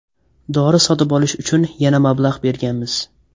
Dori sotib olish uchun yana mablag‘ berganmiz.